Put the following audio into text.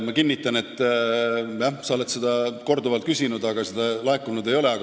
Ma kinnitan, et jah, sa oled seda korduvalt küsinud, aga seda ülevaadet laekunud ei ole.